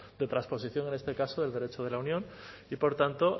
de trasposición en este caso del derecho de la unión y por tanto